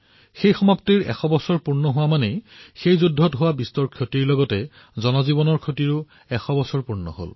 সেই সমাপ্তিৰ ১০০ বৰ্ষ সম্পূৰ্ণ হব অৰ্থাৎ সেইসময়ত হোৱা বিশাল পৰিমাণৰ বিনাশ আৰু জনহানিৰ এটা শতাব্দী সম্পূৰ্ণ হব